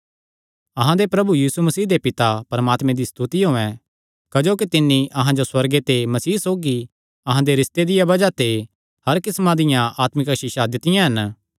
अहां दे प्रभु यीशु मसीह दे पिता परमात्मे दी स्तुति होयैं क्जोकि तिन्नी अहां जो सुअर्गे ते मसीह सौगी अहां दे रिस्ते दिया बज़ाह ते हर किस्मां दियां आत्मिक आसीषां दित्तियां हन